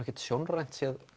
ekkert sjónrænt séð